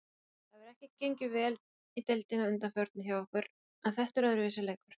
Það hefur ekki gengið vel í deildinni að undanförnu hjá okkur.en þetta er öðruvísi leikur.